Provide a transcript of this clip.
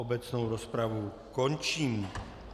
Obecnou rozpravu končím.